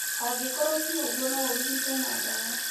Angĩkorũo ti ũguo, no ũrigitwo na ndawa.